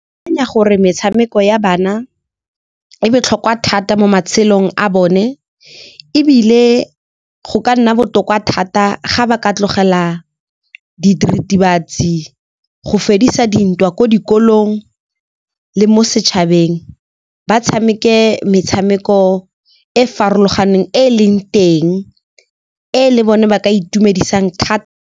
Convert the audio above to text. Ke akanya gore metshameko ya bana e botlhokwa thata mo matshelong a bone, ebile go ka nna botoka thata ga ba ka tlogela diritibatsi go fedisa dintwa ko dikolong le mo setšhabeng. Ba tshameke metshameko e farologaneng e e leng teng, e le bone ba ka itumedisang .